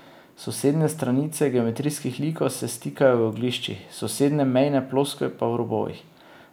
Sosednje stranice geometrijskih likov se stikajo v ogliščih, sosednje mejne ploskve pa v robovih.